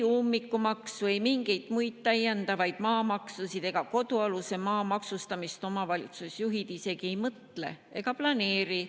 Ummikumaksu või mingeid täiendavaid maamaksusid, näiteks kodualuse maa maksustamist omavalitsusjuhid ei planeeri ega isegi mõtle sellele.